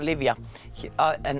lyfja hér